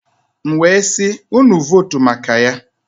M wee sị, unu votu maka Ya.